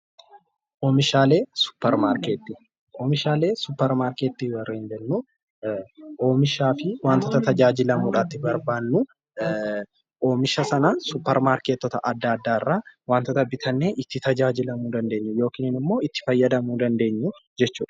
Oomishaalee suppermarketii:- Oomishaalee suppermarketii warreen jennu, Oomishaa fi waantoota itti tajaajilamuudhaaf barbaannu oomisha Sana suppermarkettota adda addaa waantoota bitannee itti tajaajilamuu dandeenyu yookiin immoo itti fayyadamuu dandeenyu jechuudha.